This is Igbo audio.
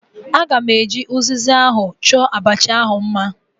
Aga m eji uziza ahụ chọọ abacha ahu mma